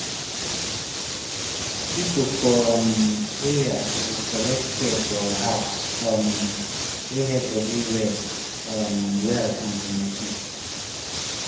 people for um area suppose collect care for house um wey help body rest um well and benefit.